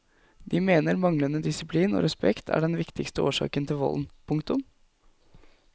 De mener manglende disiplin og respekt er den viktigste årsaken til volden. punktum